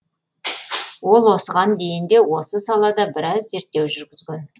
ол осыған дейін де осы салада біраз зерттеу жүргізген